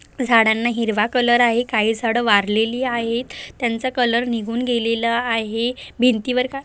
झाडांना हिरवा कलर आहे काही झाड वारलेली आहेत त्यांच कलर निघून घेलेल आहे भिंती वर--